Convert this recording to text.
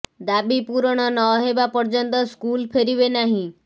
ଦାବି ପୂରଣ ନ ହେବା ପର୍ଯ୍ୟନ୍ତ ସ୍କୁଲ ଫେରିବେ ନାହିଁ